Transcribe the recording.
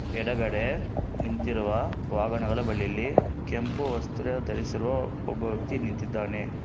ಎಡಗಡೆ ನಿಂತಿರುವ ವಾಹನಗಳ ಬಳಿಯಲ್ಲಿ ಕೆಂಪು ವಸ್ತ್ರ ಧರಿಸಿರುವ ಒಬ್ಬ ವ್ಯಕ್ತಿ ನಿಂತಿದ್ದಾನೆ.